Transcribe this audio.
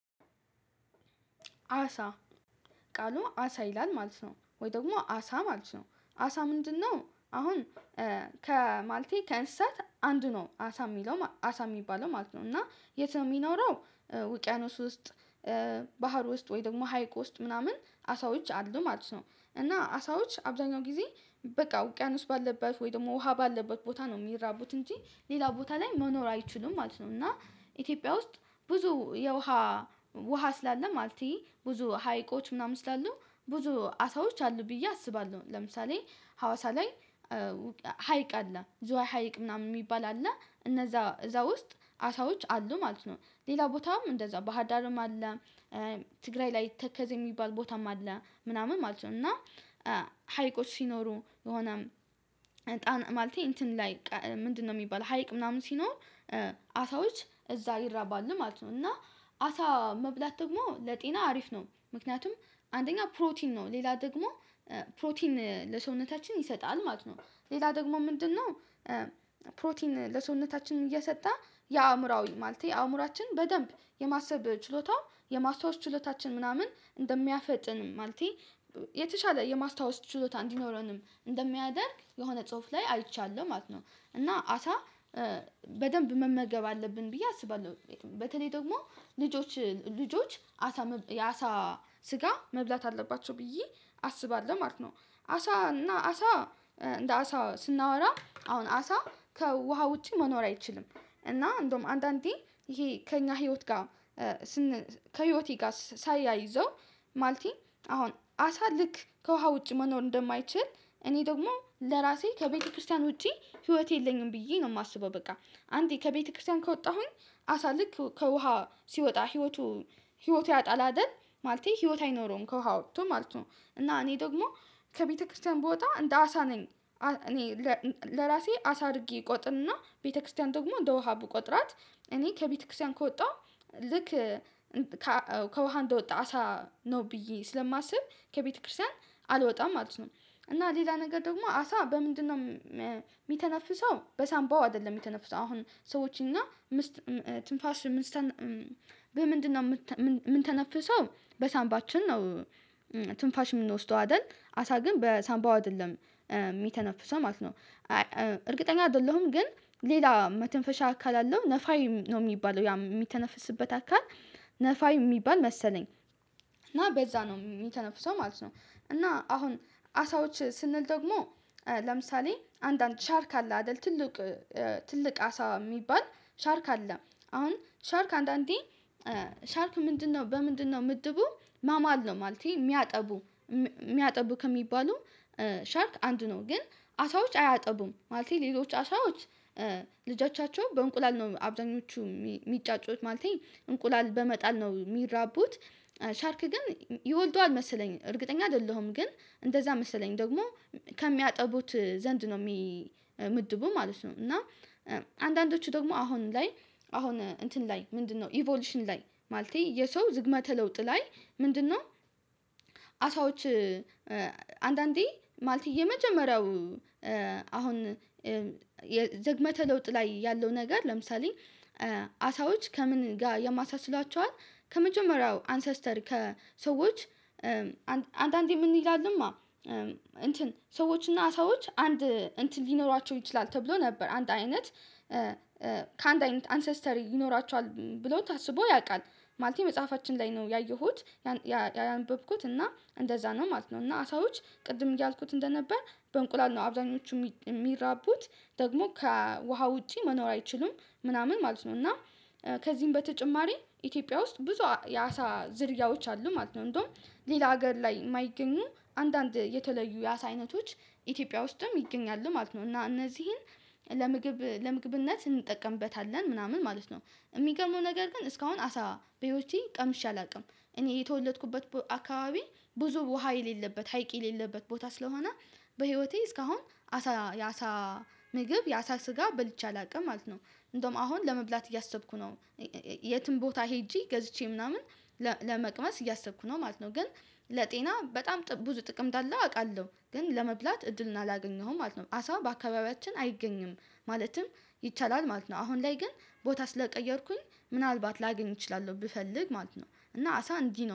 አሳ ቃሉ አሳ ይላል ማለት ነው። ወይ ደግሞ አሳ ማለት ነው። አሳ ምንድነው? አሁን ከማለቴ ከእንስሳት አንዱ ነው አሳ የሚለው አሳ የሚባለው ማለት ነው። እና የት ነው የሚኖረው? ውቅያኖስ ውስጥ፣ ባህር ውስጥ ወይ ደግሞ ሀይቅ ውስጥ ምናምን አሳዎች አሉ ማለት ነው። እና አሳዎች አብዛኛው ጊዜ በቃ ውቅያኖስ ባለበት ወይ ደግሞ ውሃ ባለበት ቦታ ነው የሚራቡት እንጂ ሌላ ቦታ ላይ መኖር አይችሉም ማለት ነው። እና ኢትዮጵያ ውስጥ ብዙ የውሃ ውሃ ስላለ ማለቴ ብዙ ሀይቆች ምናምን ስላሉ ብዙ አሳዎች አሉ ብዬ አስባለሁ። ለምሳሌ ሀዋሳ ላይ ሀይቅ አለ። ዝዋይ ሀይቅ ምናምን የሚባል አለ። እነዛ እዛ ውስጥ አሳዎች አሉ ማለት ነው። ሌላ ቦታም እንደዛው ባህዳርም አለ። ትግራይ ላይ ተከዜ የሚባል ቦታም አለ ምናምን ማለት ነው። እና ሀይቆች ሲኖሩ የሆነ ማለቴ እንትን ላይ ምንድነው የሚባለው ሀይቅ ምናምን ሲኖር አሳዎች እዛ ይራባሉ ማለት ነው። እና አሳ መብላት ደግሞ ለጤና አሪፍ ነው። ምክንያቱም አንደኛ ፕሮቲን ነው። ሌላ ደግሞ ፕሮቲን ለሰውነታችን ይሰጣል ማለት ነው። ሌላ ደግሞ ምንድነው? ፕሮቲን ለሰውነታችን እየሰጠ የአእምሮአዊ ማለቴ የአእምሮአችን በደንብ የማሰብ ችሎታ የማስታወስ ችሎታችን ምናምን እንደሚያፈጥን ማለቴ የተሻለ የማስታወስ ችሎታ እንዲኖረንም እንደሚያደርግ የሆነ ጽሁፍ ላይ አይቻለሁ ማለት ነው። እና አሳ በደንብ መመገብ አለብን ብዬ አስባለሁ። በተለይ ደግሞ ልጆች ልጆች አሳ የአሳ ስጋ መብላት አለባቸው ብዬ አስባለሁ ማለት ነው። አሳ እና አሳ እንደ አሳ ስናወራ አሁን አሳ ከውሃ ውጪ መኖር አይችልም። እና እንደውም አንዳንዴ ይሄ ከእኛ ህይወት ጋር ከህይወቴ ጋር ሳያይዘው ማለቴ አሁን አሳ ልክ ከውሃ ውጭ መኖር እንደማይችል እኔ ደግሞ ለራሴ ከቤተክርስቲያን ውጪ ህይወቴ የለኝም ብዬ ነው የማስበው። በቃ አንዴ ከቤተክርስቲያን ከወጣሁኝ አሳ ልክ ከውሃ ሲወጣ ህይወቱ ህይወቱን ያጣል አይደል? ማለቴ ህይወት አይኖረውም ከውሃ ወጥቶ ማለት ነው። እና እኔ ደግሞ ከቤተክርስቲያን ብወጣ እንደ አሳ ነኝ። እኔ ለራሴ አሳ አድርጌ እቆጥንና ቤተክርስቲያን ደግሞ እንደ ውሃ ብቆጥራት እኔ ከቤተክርስቲያን ከወጣሁ ልክ ከውሃ እንደወጣ አሳ ነው ብዬ ስለማስብ ከቤተክርስቲያን አልወጣም ማለት ነው። እና ሌላ ነገር ደግሞ አሳ በምንድነው የሚተነፍሰው? በሳንባው አይደለም የተነፍሰው። አሁን ሰዎችን እና ትንፋሽ ምን ምንድነው የምንተነፍሰው በሳንባችን ነው ትንፋሽ የምንወስደው አይደል? አሳ ግን በሳንባው አይደለም የሚተነፍሰው ማለት ነው። እርግጠኛ አይደለሁም ግን ሌላ መተንፈሻ አካል አለው። ነፋይ ነው የሚባለው ያ የሚተነፍስበት አካል ነፋይ የሚባል መሰለኝ። እና በዛ ነው የሚተነፍሰው ማለት ነው። እና አሁን አሳዎች ስንል ደግሞ ለምሳሌ አንዳንድ ሻርክ አለ አይደል ትልቅ ትልቅ አሳ የሚባል ሻርክ አለ። አሁን ሻርክ አንዳንዴ ሻርክ ምንድነው? በምንድነው ምድቡ? ማማል ነው ማለቴ የሚያጠቡ የሚያጠቡ ከሚባሉ ሻርክ አንዱ ነው። ግን አሳዎች አያጠቡም። ማለቴ ሌሎች አሳዎች ልጆቻቸው በእንቁላል ነው አብዛኞቹ ሚጫጩት ማለቴ እንቁላል በመጣል ነው የሚራቡት። ሻርክ ግን ይወልደዋል መሰለኝ። እርግጠኛ አይደለሁም። ግን እንደዛ መሰለኝ። ደግሞ ከሚያጠቡት ዘንድ ነው ምድቡ ማለት ነው። እና አንዳንዶቹ ደግሞ አሁን ላይ አሁን እንትን ላይ ምንድነው ኢቮሉሽን ላይ ማለቴ የሰው ዝግመተ ለውጥ ላይ ምንድነው? አሳዎች አንዳንዴ ማለቴ የመጀመሪያው አሁን ዝግመተ ለውጥ ላይ ያለው ነገር ለምሳሌ አሳዎች ከምን ጋር ያመሳስሏቸው ከመጀመሪያው አንሰስተር ከሰዎች አንዳንዴ ምን ይላሉማ እንትን ሰዎችና ሰዎች አንድ እንትን ሊኖሯቸው ይችላል ተብሎ ነበር። አንድ አይነት ከአንድ አይነት አንሰስተሪ ይኖራቸዋል ብለው ታስቦ ያውቃል። ማለት መጽሐፋችን ላይ ነው ያየሁት። ያነበብኩት እና እንደዛ ነው ማለት ነው። እና አሳዎች ቅድም እያልኩት እንደነበር በእንቁላል ነው አብዛኞቹ የሚራቡት። ደግሞ ከውሃ ውጪ መኖር አይችሉም ምናምን ማለት ነው። እና ከዚህም በተጨማሪ ኢትዮጵያ ውስጥ ብዙ የአሳ ዝርያዎች አሉ ማለት ነው። እንደውም ሌላ ሀገር ላይ የማይገኙ አንዳንድ የተለዩ የአሳ አይነቶች ኢትዮጵያ ውስጥም ይገኛሉ ማለት ነው። እና እነዚህን ለምግብ ለምግብነት እንጠቀምበታለን ምናምን ማለት ነው። የሚገመው ነገር ግን እስካሁን አሳ በህይወቴ ቀምሼ አላውቅም። እኔ የተወለድኩበት አካባቢ ብዙ ውሃ የሌለበት ሀይቅ የሌለበት ቦታ ስለሆነ በህይወቴ እስካሁን አሳ ያሳ ምግብ ያሳ ስጋ በልቼ አላውቅም ማለት ነው። እንደውም አሁን ለመብላት እያሰብኩ ነው። የትም ቦታ ሄጄ ገዝቼ ምናምን ለመቅመስ እያሰብኩ ነው ማለት ነው። ግን ለጤና በጣም ብዙ ጥቅም እንዳለው አውቃለሁ። ግን ለመብላት እድልን አላገኘሁም ማለት ነው። አሳው በአካባቢያችን አይገኝም። ማለትም ይቻላል ማለት ነው። አሁን ላይ ግን ቦታ ስለቀየርኩኝ ምናልባት ላገኝ እችላለሁ ብፈልግ ማለት ነው። እና አሳ እንዲህ ነው።